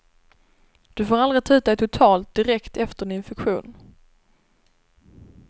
Du får aldrig ta ut dig totalt direkt efter en infektion.